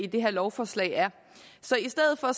af det her lovforslag så i stedet for